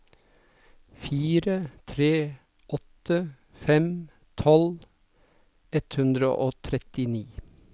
fire tre åtte fem tolv ett hundre og trettini